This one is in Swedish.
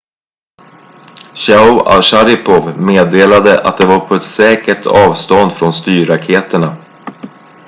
chiao och sharipov meddelade att de var på ett säkert avstånd från styrraketerna